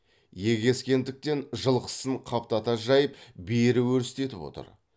егескендіктен жылқысын қаптата жайып бері өрістетіп отыр